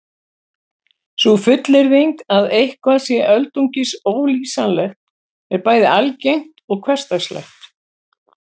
Sú fullyrðing að eitthvað sé öldungis ólýsanlegt er bæði algeng og hversdagsleg.